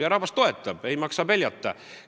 Ja rahvas mind toetab, ei maksa peljata!